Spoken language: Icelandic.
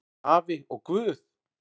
Afi og Guð!